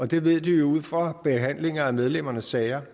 de ved det jo ud fra behandling af medlemmernes sager